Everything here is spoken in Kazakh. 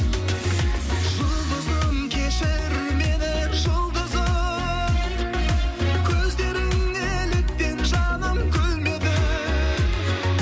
жұлдызым кешір мені жұлдызым көздерің неліктен жаным күлмеді